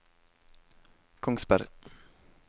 Kongsberg